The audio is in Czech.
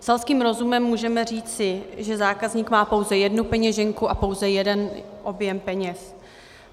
Selským rozumem můžeme říci, že zákazník má pouze jednu peněženku a pouze jeden objem peněz.